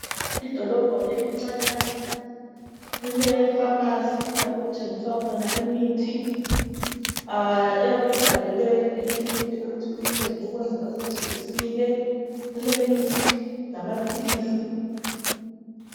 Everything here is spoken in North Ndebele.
Idolobho elincanyana, lile famasi lapho okuthengiswa khona imithi oyabe uyibhalele ekiliniki ukuthi uyithenge okwenzela kuthi isile. Kule mithi lamaphilisi.